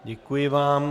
Děkuji vám.